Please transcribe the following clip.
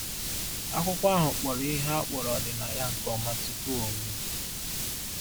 Akwụkwọ ahụ kpọrọ ihe a kpọrọ ọdịnaya nke ọma tupu o mee.